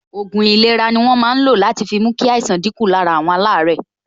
Òògùn ìlera ni wọ́n máa ń lo láti fi mú kí àìsàn dín kù lára àwọn alaare